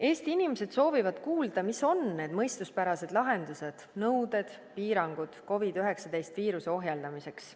Eesti inimesed soovivad kuulda, mis on need mõistuspärased lahendused, nõuded, piirangud COVID-19 viiruse ohjeldamiseks.